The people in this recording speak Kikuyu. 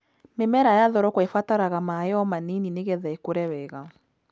Mĩmera ya thoroko ĩbataraga maaĩ o ma nini nĩgetha ĩkũre wega.